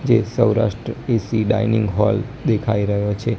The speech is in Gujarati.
જે સૌરાષ્ટ્ર એ_સી ડાઇનિંગ હોલ દેખાય રહ્યો છે.